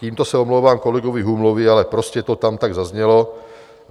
Tímto se omlouvám kolegovi Humlovi, ale prostě to tam tak zaznělo.